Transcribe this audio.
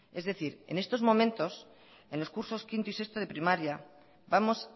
es decir en estos momentos en los cursos quinto y sexto de primaria vamos